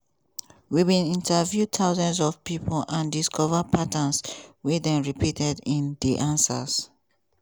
we bin interview thousands of pipo and discover patterns wey dey repeated in di answers.